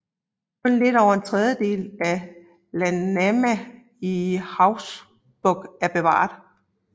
Kun lidt over en tredjedel af Landnáma i Hauksbók er bevaret